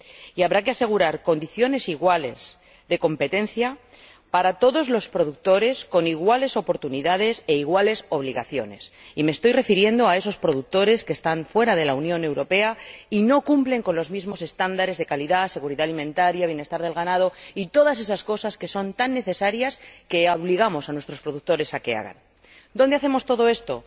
y habrá que asegurar condiciones iguales de competencia para todos los productores, con iguales oportunidades e iguales obligaciones ―y me estoy refiriendo a esos productores que están fuera de la Unión Europea y no cumplen con los mismos estándares de calidad, seguridad alimentaria, bienestar del ganado y todas esas cosas que son tan necesarias que obligamos a nuestros productores a que las cumplan—. ¿Dónde hacemos todo esto?